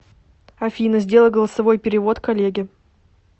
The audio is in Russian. афина сделай голосовой перевод коллеге